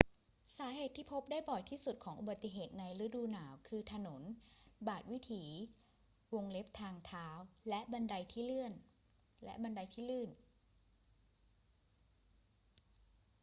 สาเหตุที่พบได้บ่อยที่สุดของอุบัติเหตุในฤดูหนาวคือถนน บาทวิถี ทางเท้า และบันไดที่ลื่น